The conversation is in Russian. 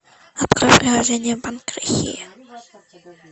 открой приложение банк россии